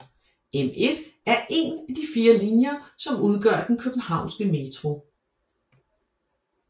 M1 er én af de fire linjer som udgør den københavnske metro